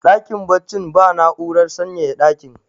dakin baccin ba na'urar sanyaya dakin